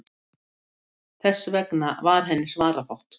Þess vegna var henni svarafátt.